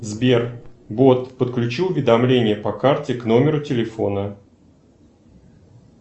сбер бот подключи уведомление по карте у номеру телефона